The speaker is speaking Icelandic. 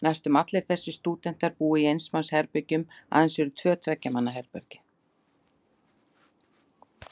Næstum allir þessir stúdentar búa í eins manns herbergjum, aðeins eru tvö tveggja manna herbergi.